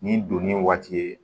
Ni donni waati ye